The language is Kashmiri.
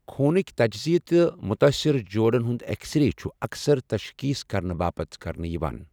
خوٗنٕكہِ تجزِیہ تہٕ مُتٲثرٕ جوڑَن ہُنٛد ایکس رے چھِ اَکثَر تشخیٖص کرنہٕ باپتھ کرنہٕ یِوان ۔